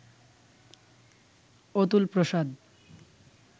Atul Prasad